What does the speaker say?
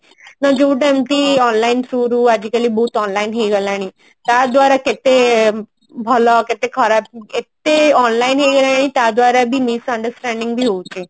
ନା ଯୋଉଟା ଏମତି online through ରୁ ଆଜିକାଲି ବହୁତ online ହେଇଗଲାଣି ତା ଦ୍ଵାରା କେତେ ଭଲ କେତେ ଖରାପ ଏତେ online ହେଇଗଲାଣି ତା ଦ୍ଵାରା ବି misunderstanding ବି ହଉଛି